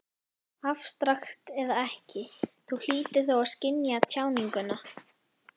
Afstrakt eða ekki, Þú hlýtur þó að skynja tjáninguna.